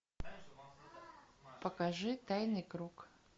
покажи тайный круг